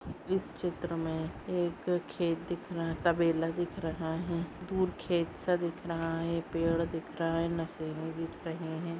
इस चित्र मे एक खेत दिख रहा तबेला दिख रहा है दूर खेत सा दिख रहा है पेड़ दिख रहा है मशिने दिक रहे है।